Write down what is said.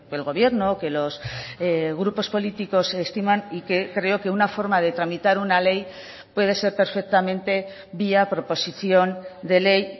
el gobierno o que los grupos políticos estiman y que creo que una forma de tramitar una ley puede ser perfectamente vía proposición de ley